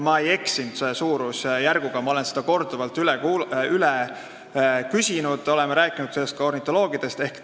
Ma ei eksinud suurusjärguga, ma olen seda korduvalt üle küsinud, oleme rääkinud sellest ka ornitoloogidega.